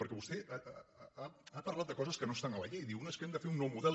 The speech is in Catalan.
perquè vostè ha parlat de coses que no estan a la llei diu no és que hem de fer un nou model